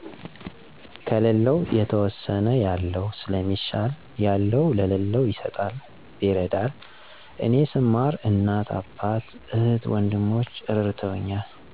ከለለው የተወሰነ ያለው ሰለሚሻል ያለው ለለው ይሰጣል ይረዳል እኔ ሰማር እናት አባት፣ እህት ወንድሞቸ እረድተውኛል።